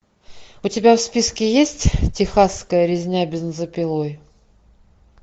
у тебя в списке есть техасская резня бензопилой